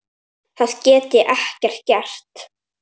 Það get ég gert.